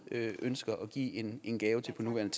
ønsker at give en en gave til på nuværende